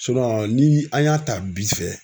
ni an y'a ta bi fɛ